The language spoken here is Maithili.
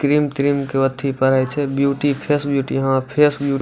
क्रीम त्रिम के अथी परई छे ब्यूटी फेस ब्यूटी हाँ फेस बीउ --